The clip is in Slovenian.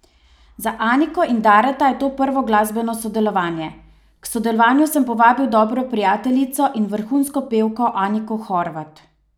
Za Aniko in Dareta je to prvo glasbeno sodelovanje: "K sodelovanju sem povabil dobro prijateljico in vrhunsko pevko Aniko Horvat.